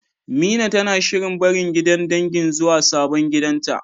Mina tana shirin barin gidan dangin zuwa sabon gidanta.